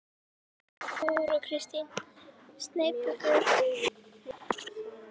Þóra Kristín: Sneypuför?